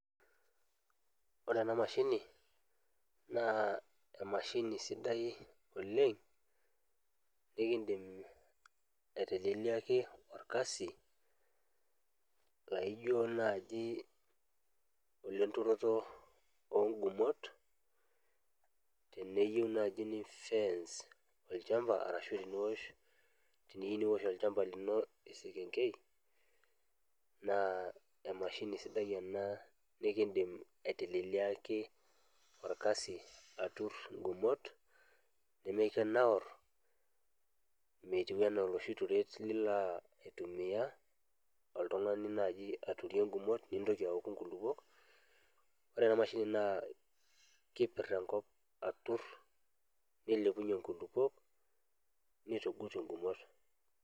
Ore ena mashini naa emashini sidai oleng' nikindim aiteleliaki orkasi laijo naaji lenturoto oongumot teniyieu naaji nifence olchamba ashu teniosh olchamba lino esekengei naa emashini sidai ena nikindim aiteleliaki orkasi aturr ingumot, nimikinaurr metiu enaa oloshi turet laa intumia oltung'ani aturie ingumot, nitoki awoku nkulupuo. Ore ena mashini naa keturr enkop aturr nilepunyie inkulupuok nitugut ingumot.